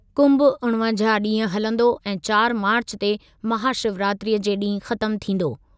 कुंभ उणिवंजाहु ॾींहं हलंदो ऐं चारि मार्चु ते महाशिवरात्रीअ जे ॾींहुं ख़त्म थींदो।